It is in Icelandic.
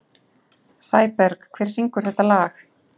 Sæberg, hver syngur þetta lag?